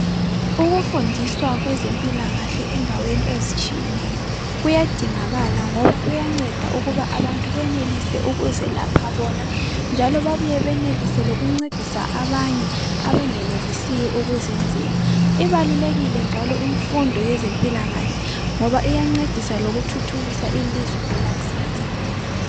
Ukufundiswa kwezempilakahle endaweni ezitshiyeneyo kuyadingakala ngoba kuyanceda ukuba abantu beyenelise ukuzilapha bona njalo babuye beyenelise lokuncedisa abanye abangayenelisiyo ukuzenzela. Ibalulekile njalo imfundo yezempilakahle ngoba iyancedisa lokuthuthukisa ilizwe kwelakusasa.